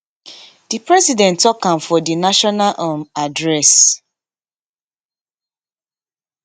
di president tok am for di national um address